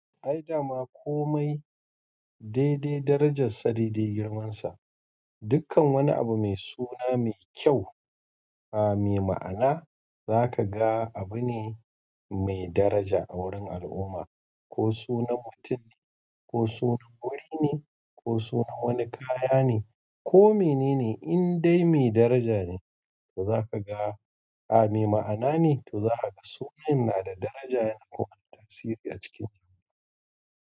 Ai dama komai dai dai darajar sa dai dai girman sa. Dukkan wani abu mai suna mai kyau, ah, mai ma'ana za ka ga abu ne mai daraja a wurin al'umma. Ko sunan mutum ko sunan wuri ne ko sunan wani kaya ne ko menene inda mai daraja ne to ka ga mai ma'anar ne to ka ga sunan na da daraja ko wata tasiri a ciki.